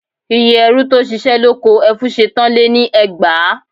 Iye ẹrú tó ṣiṣẹ́ lóko Ẹfúnṣetán lé ní ẹgbàá